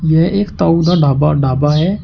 यह एक ताऊ द ढाबा ढाबा है।